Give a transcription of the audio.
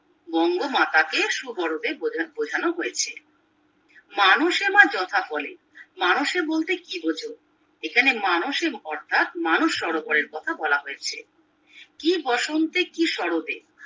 বঙ্গমাতা কে সুবোরোদে বোঝানো হয়েছে মানুষে মা যথা বলে মানুষে বলতে কি বুঝ এখানে এখানে মানুষের অর্থাৎ মানস সরোবরের কথা বলা হয়েছে কি বসন্তে কি সরতে